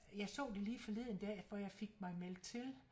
Jeg så det lige forleden dag for jeg fik mig meldt til